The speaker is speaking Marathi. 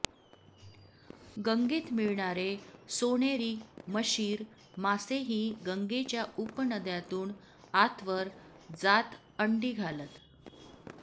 गंगेत मिळणारे सोनेरी मशीर मासेही गंगेच्या उपनद्यांतून आतवर जात अंडी घालत